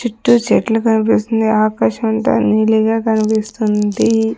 చుట్టూ చెట్లు కన్పిస్తుంది ఆకాశమంత నీలిగా కనిపిస్తుంది.